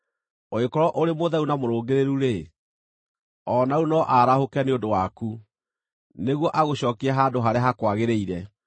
ũngĩkorwo ũrĩ mũtheru na mũrũngĩrĩru-rĩ, o na rĩu no arahũke nĩ ũndũ waku nĩguo agũcookie handũ harĩa hakwagĩrĩire.